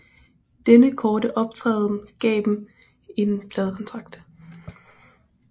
Denne korte optræden gav dem en pladekontrakt